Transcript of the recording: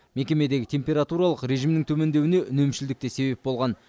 мекемедегі температуралық режимнің төмендеуіне үнемшілдік те себеп болған